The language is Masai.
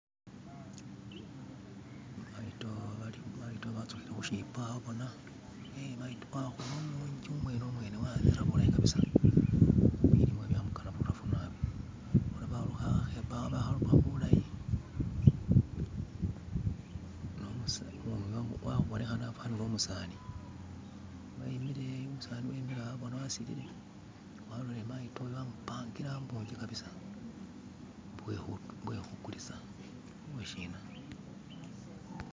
Maido bazukile kushibbo awo bona, ee maido wakula umungi umwene mwene aneta bulayi kabisa bilimmwa byamugana butafu nabi. Bona baluka akebbo iwo bakaluka bulayi nu mus... Abonekele afanile umuseza imikilewo bona asililile alolele maido yo amupangile wo mungi kabisa mbo uwekugulisa mbo shina.